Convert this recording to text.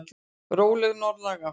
Róleg norðlæg átt